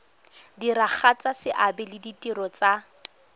diragatsa seabe le ditiro tsa